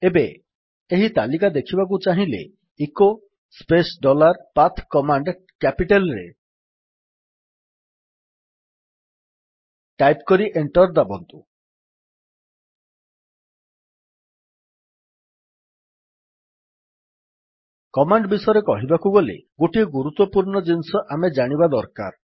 ଏବେ ଏହି ତାଲିକା ଦେଖିବାକୁ ଚାହିଁଲେ echo space dollar path command capital ରେ ଟାଇପ୍ କରି ଏଣ୍ଟର୍ ଦାବନ୍ତୁ କମାଣ୍ଡ ବିଷୟରେ କହିବାକୁ ଗଲେ ଗୋଟିଏ ଗୁରୁତ୍ୱପୂର୍ଣ୍ଣ ଜିନିଷ ଆମେ ଜାଣିବା ଦରକାର